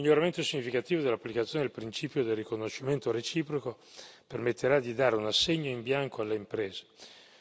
Il miglioramento significativo dell'applicazione del principio del riconoscimento reciproco permetterà di dare un assegno in bianco alle imprese.